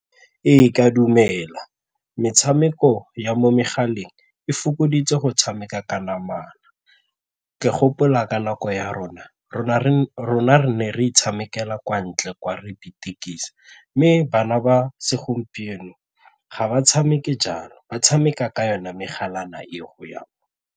Ee, ka dumela metshameko ya mo megaleng e fokoditse go tshameka ka namana. Ke gopola ka nako ya rona re nna re ne re itshamekela kwa ntle kwa re ipetekisa mme bana ba segompieno ga ba tshameke jalo ba tshameka ka yone megalana eo .